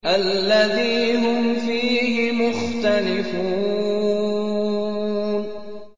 الَّذِي هُمْ فِيهِ مُخْتَلِفُونَ